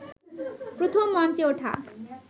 প্রথম মঞ্চে ওঠা